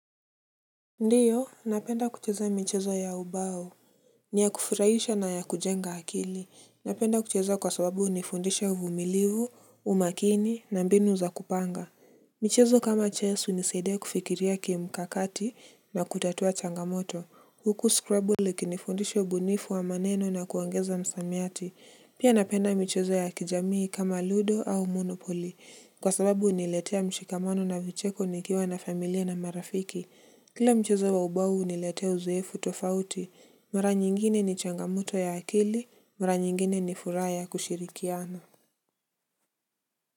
Ndiyo, napenda kucheza michezo ya ubao. Ni ya kufurahisha na ya kujenga akili. Napenda kucheza kwa sababu hunifundisha uvumilivu, umakini na mbinu za kupanga. Michezo kama chess hunisaidia kufikiria ki mkakati na kutatua changamoto. Huku Scrubble ikini fundisha ubunifu wa maneno na kuongeza msamiati. Pia napenda michezo ya kijamii kama ludo au monopoli. Kwa sababu huniletea mshikamano na vicheko nikiwa na familia na marafiki. Kila mchezo wa ubao huniletea uzoefu tofauti, mara nyingine ni changamoto ya akili, mara nyingine ni furaha kushirikiana.